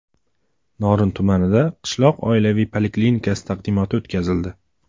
Norin tumanida qishloq oilaviy poliklinikasi taqdimoti o‘tkazildi.